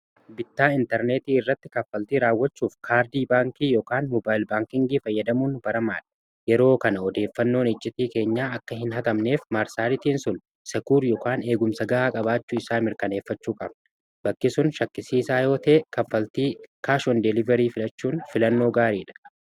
bittaa intarneetii irratti kaffaltii raawwachuuf kaardii baankii ykaan mobaayl baankingii fayyadamuu baramaad yeroo kana odeeffannoon ijjitii keenya akka hin hagamneef maarsaalitiin sul sk y eegumsa ga'aa qabaachuu isaa mirkaneeffachuu qabne bakkisun shakkisiiisaa yootee kaffaltii kaashon deeliverii filachuun filannoo gaarii dha